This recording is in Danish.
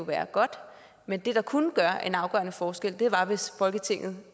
være godt men det der kunne gøre en afgørende forskel var hvis folketinget